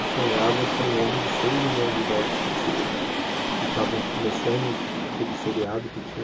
Eu sonhava com um homem de seis milhões de dólares que se que estava começando aquele seriado que tinha.